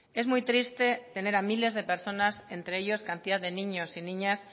es muy triste tener a miles de personas entre ellos cantidad de niños y niñas